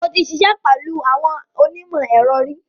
Mo ti ṣiṣẹ́ pẹ̀lú àwọn onímọ̀-ẹ̀rọ ri.